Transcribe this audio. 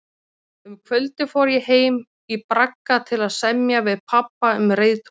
Um kvöldið fór ég heim í bragga til að semja við pabba um reiðtúrinn.